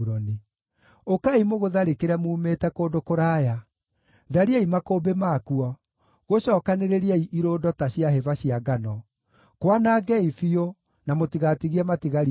Ũkaai mũgũtharĩkĩre muumĩte kũndũ kũraya. Thariai makũmbĩ makuo; gũcookanĩrĩriei irũndo ta cia hĩba cia ngano. Kwanangei biũ, na mũtigatigie matigari kuo.